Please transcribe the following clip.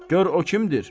Gör o kimdir?